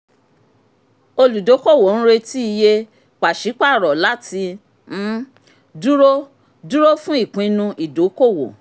olùdókòwò ń retí iye pàṣípàrọ̀ láti um dúró dúró fún ìpinnu ìdókòwò.